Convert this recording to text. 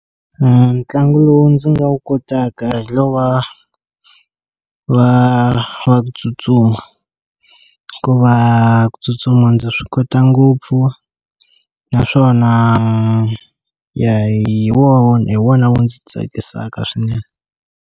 Ntlangu lowu ndzi nga wu kotaka hi lowa wa wa ku tsutsuma hikuva ku tsutsuma ndzi swi kota ngopfu naswona ya hi wona hi wona wu ndzi tsakisaka swinene.